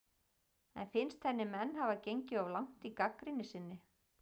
En finnst henni menn hafa gengið of langt í gagnrýni sinni?